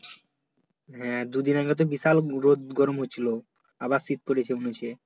হ্যাঁ, দু দিন আগে তো বিশাল রোদ গরম হয়েছিলো আবার শীত পরেছে মনে হচ্ছে